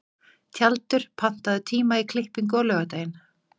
Tjaldur, pantaðu tíma í klippingu á laugardaginn.